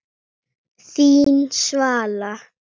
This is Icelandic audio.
Þín Svala.